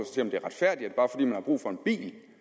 det